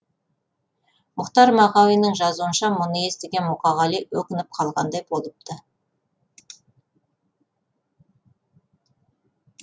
мұхтар мағауиннің жазуынша мұны естіген мұқағали өкініп қалғандай болыпты